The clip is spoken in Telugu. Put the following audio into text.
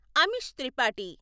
అమిష్ త్రిపాఠి